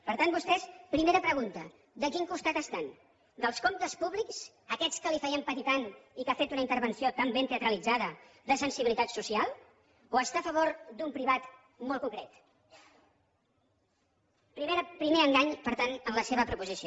per tant vostès primera pregunta de quin costat estan dels comptes públics aquests que li feien patir tant i que ha fet una intervenció tan ben teatralitzada de sensibilitat social o està a favor d’un privat molt concret primer engany per tant en la seva proposició